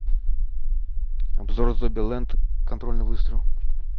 обзор зомбиленд контрольный выстрел